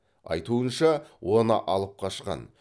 айтуынша оны алып қашқан